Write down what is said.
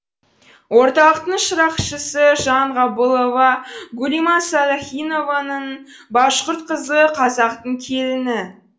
орталықтың шырақшысы жанғабылова гүлима салахинованың башқұрт қызы қазақтың келіні